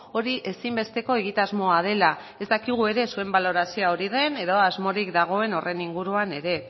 hori ezinbesteko egitasmoa dela ez dakigu ere zuen balorazioa hori den edo asmorik dagoen horren inguruan ere